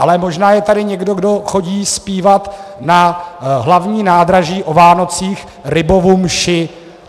Ale možná je tady někdo, kdo chodí zpívat na Hlavní nádraží o Vánocích Rybovu mši.